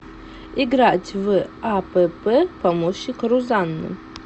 играть в апп помощник рузанны